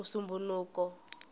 musumbhunuku